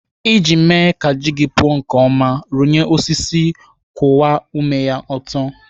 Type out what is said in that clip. Iji mee ka ji gị puo nke ọma, rụnyere osisi kwụwa ome ya ọtọ.